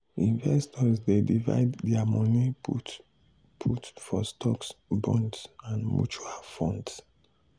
investors dey divide their money put put for stocks bonds and mutual funds.